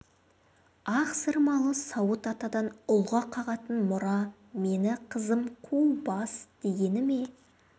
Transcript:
ақсырмалы сауыт атадан ұлға қалатын мұра мені қызым қу бас дегені ме